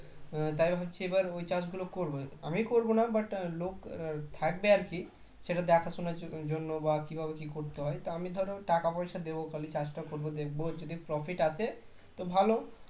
তাই ভাবছি এ বার ওই চাষ গুলো করবো আমি করব না বা লোক থাকবে আর কি সেটা দেখাশোনার জন্য বা কীভাবে কি করতে হয় তো আমি ধরো টাকা পয়সা দেবো খালি চাষটা করব দেখবো যদি profit আসে তো ভালো